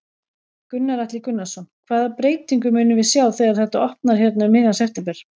Gunnar Atli Gunnarsson: Hvaða breytingu munum við sjá þegar þetta opnar hérna um miðjan september?